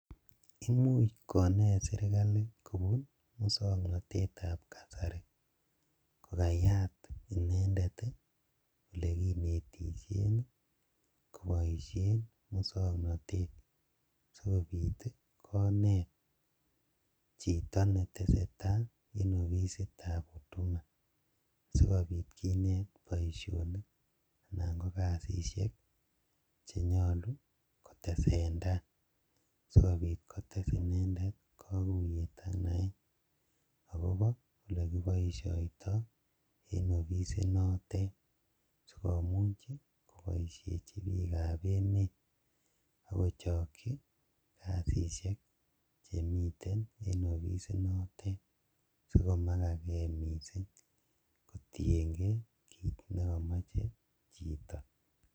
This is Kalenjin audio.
Imuuch koneet serikali kobun muswoknotetab kasari kokayaat inendet olekinetishen koboishen muswoknotet sikobiit koneet chito netesetaa en ofisitab huduma, sikobiit kineet boishonik anan ko kasisiek chenyoluu kotesentai sikobiit kotees inendet kokuyeet ak naeet akobo olekiboishoito en ofisinotet sikomuuch koboishechi biikab emet akochokyi kasisyek chemiten en ofisit notet sikomakakee mising kotieng'ee kiit nekomoche chito.